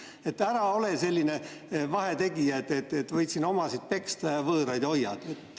Nii et ära ole selline vahetegija, et võid siin omasid peksta ja võõraid hoiad.